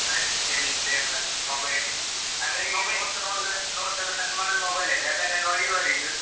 ಮನೆಯಲ್ಲಿ ಎಂತ ಇಲ್ಲ, mobile ಅಲ್ಲೆ. ಅಂದ್ರೆ ಈಗ notes ನೋಡುದು notes ಎಲ್ಲ send ಮಾಡುದು mobile ಅಲ್ಲ ಅದನ್ನೇ ನೋಡಿ ಓದಿದ್ದು